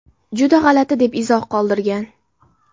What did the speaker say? Juda g‘alati”, deb izoh qoldirgan.